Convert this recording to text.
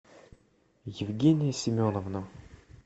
евгения семеновна